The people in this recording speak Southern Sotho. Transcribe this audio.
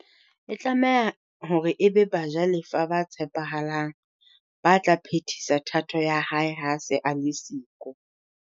E tlameha hore e be bajalefa ba tshepahalang ba tla phetisa thato ya hae ha se a le siko.